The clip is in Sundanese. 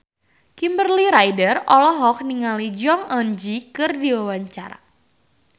Kimberly Ryder olohok ningali Jong Eun Ji keur diwawancara